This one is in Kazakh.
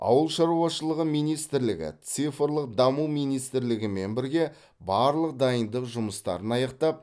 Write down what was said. ауыл шаруашылығы министрлігі цифрлық даму министрлігімен бірге барлық дайындық жұмыстарын аяқтап